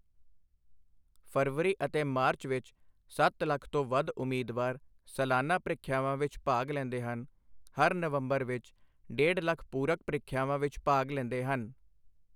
ਫਰਵਰੀ ਅਤੇ ਮਾਰਚ ਵਿੱਚ ਸੱਤ ਲੱਖ ਤੋਂ ਵੱਧ ਉਮੀਦਵਾਰ ਸਲਾਨਾ ਪ੍ਰੀਖਿਆਵਾਂ ਵਿੱਚ ਭਾਗ ਲੈਂਦੇ ਹਨ ਹਰ ਨਵੰਬਰ ਵਿੱਚ ਡੇਢ ਲੱਖ ਪੂਰਕ ਪ੍ਰੀਖਿਆਵਾਂ ਵਿੱਚ ਭਾਗ ਲੈਂਦੇ ਹਨ।